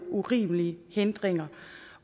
urimelige hindringer